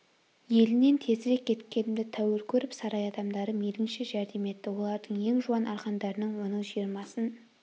елінен тезірек кеткенімді тәуір көріп сарай адамдары мейлінше жәрдем етті олардың ең жуан арқандарының оның жиырмасын